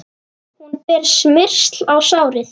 Hún ber smyrsli á sárin.